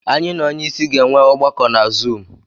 Anyị na onye isi ga-enwe ọgbakọ na Zuumu.